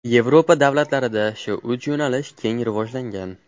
Yevropa davlatlarida shu uch yo‘nalish keng rivojlangan.